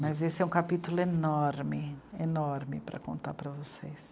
Mas esse é um capítulo enorme, enorme para contar para vocês.